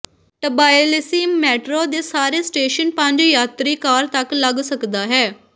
Tbilisi metro ਦੇ ਸਾਰੇ station ਪੰਜ ਯਾਤਰੀ ਕਾਰ ਤੱਕ ਲੱਗ ਸਕਦਾ ਹੈ